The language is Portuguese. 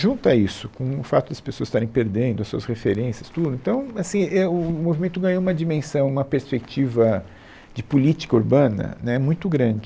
Junta isso, com o fato das pessoas estarem perdendo as suas referências, tudo, então, assim, é o o o movimento ganhou uma dimensão, uma perspectiva de política urbana, né, muito grande.